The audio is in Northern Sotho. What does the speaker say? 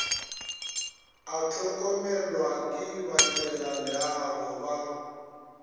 a hlokomelwa ke badirelaleago ba